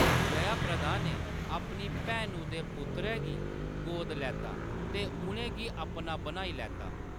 जयाप्रदा ने अपनी भैनु दे पुत्तरै गी गोदा लैता ते उʼनें गी अपना बनाई लैता।